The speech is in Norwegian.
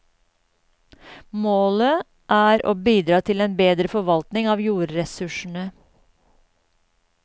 Målet er å bidra til en bedre forvaltning av jordressursene.